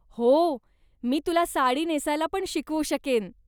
हो, मी तुला साडी नेसायला पण शिकवू शकेन.